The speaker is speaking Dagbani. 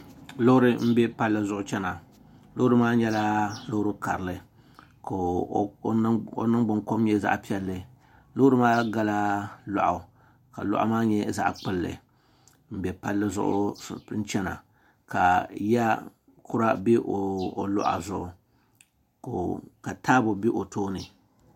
loori m-be palli zuɣu n-chana loori maa nyɛla loori karili ka o niŋgbunkom nyɛ zaɣ' piɛlli loori maa gala lɔɣu ka lɔɣu maa nyɛ zaɣ' kpulli m-be palli zuɣu n-chana ka ya kura be o luɣa zuɣu ka taabo be o tooni